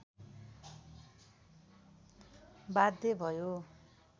बाध्य भयो।